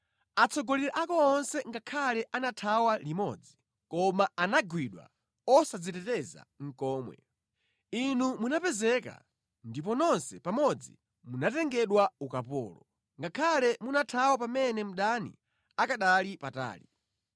Atsogoleri ako onse ngakhale anathawa limodzi; koma anagwidwa osadziteteza nʼkomwe. Inu munapezeka ndipo nonse pamodzi munatengedwa ukapolo, ngakhale munathawa pamene mdani akanali patali.